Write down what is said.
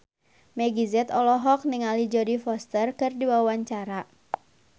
Meggie Z olohok ningali Jodie Foster keur diwawancara